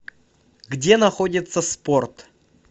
где находится спорт